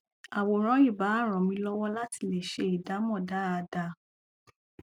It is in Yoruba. àwòrán ì bá ràn mí lọwọ látì lè ṣe ìdámọ dáada